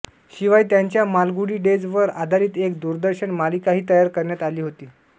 शिवाय त्यांच्या मालगुडी डेज वर आधारित एक दूरदर्शन मालिकाही तयार करण्यात आली होती